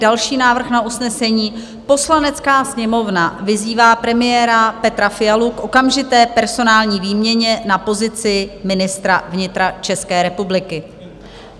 Další návrh na usnesení: "Poslanecká sněmovna vyzývá premiéra Petra Fialu k okamžité personální výměně na pozici ministra vnitra České republiky."